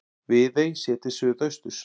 Viðey séð til suðausturs.